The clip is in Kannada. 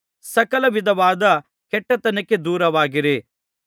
ಸಕಲವಿಧವಾದ ಕೆಟ್ಟತನಕ್ಕೆ ದೂರವಾಗಿರಿ